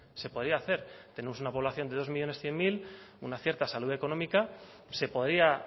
se podía hacer tenemos una población de dos millónes cien mil una cierta salud económica se podía